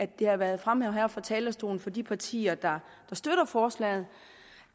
det har været fremhævet her fra talerstolen af de partier der støtter forslaget